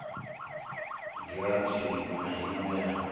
giranthi iṋwe na iṋwe yo